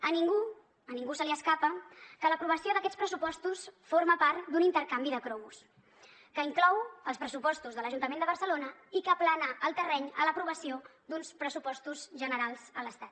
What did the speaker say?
a ningú a ningú se li escapa que l’aprovació d’aquests pressupostos forma part d’un intercanvi de cromos que inclou els pressupostos de l’ajuntament de barcelona i que aplana el terreny a l’aprovació d’uns pressupostos generals de l’estat